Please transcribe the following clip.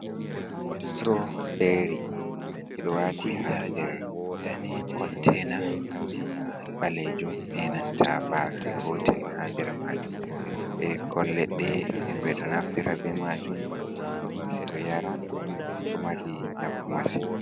Strawberri ɓe ɗo wati ha nder containa ɓalejum be nanta baafe gotel ha nder majum bikkon leɗɗe, nden ɓe ɗo naftira be majum ɓe ɗo yara, ɗo mari nafu masin.